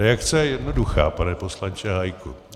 Reakce je jednoduchá, pane poslanče Hájku.